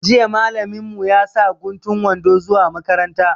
Jiya malamin mu ya sa guntun wando zuwa makaranta